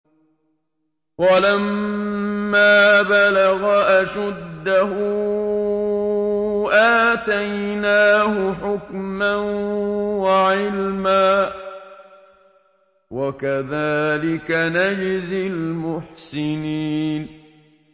وَلَمَّا بَلَغَ أَشُدَّهُ آتَيْنَاهُ حُكْمًا وَعِلْمًا ۚ وَكَذَٰلِكَ نَجْزِي الْمُحْسِنِينَ